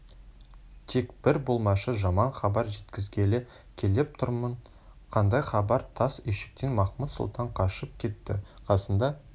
тек бір болмашы жаман хабар жеткізгелі келіп тұрмын қандай хабар тас үйшіктен махмуд-сұлтан қашып кетті қасында